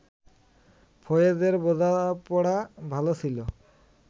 ফয়েজের বোঝাপড়া ভালো ছিল